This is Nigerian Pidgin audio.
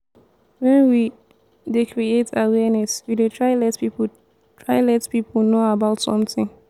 when we dey create awareness we dey try let pipo try let pipo know about something